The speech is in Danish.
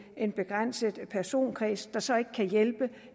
en begrænset personkreds der så ikke kan hjælpe